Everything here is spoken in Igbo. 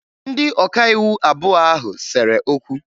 Ndị ọkaiwu abụọ ahụ sere okwu